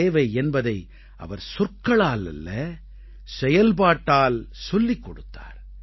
சேவை என்பதை அவர் சொற்களால் அல்ல செயல்பாட்டால் சொல்லிக் கொடுத்தார்